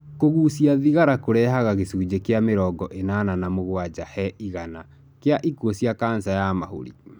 Kũgucia thigara kũrehage gĩcunji kĩa mĩrongo ĩnana na mũgwaja he igana kĩa ikuo cia cancer ya mahori.